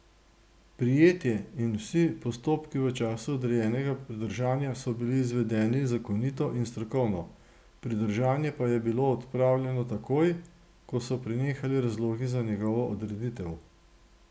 Prijetje in vsi postopki v času odrejenega pridržanja so bili izvedeni zakonito in strokovno, pridržanje pa je bilo odpravljeno takoj, ko so prenehali razlogi za njegovo odreditev.